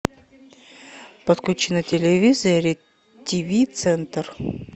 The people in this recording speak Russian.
подключи на телевизоре тв центр